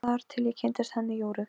Þar til ég kynntist henni Jóru.